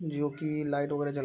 जो की लाइट वगेरा जल --